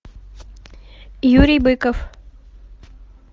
юрий быков